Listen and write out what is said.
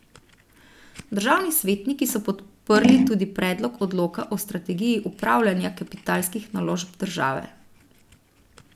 Državni svetniki so podprli tudi predlog odloka o strategiji upravljanja kapitalskih naložb države.